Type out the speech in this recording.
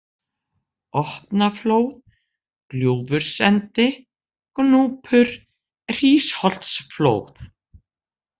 Opnaflóð, Gljúfursendi, Gnúpur, Hrísholtsflóð